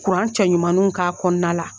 Kuran cɛ ɲumaninw k'a kɔnɔna la.